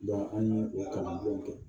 an ye o kalandenw kɛ